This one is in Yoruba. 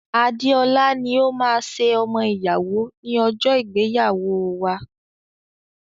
Adeola ni ó máa ṣe ọmọ ìyàwó ní ọjọ́ ìgbéyàwóo wa.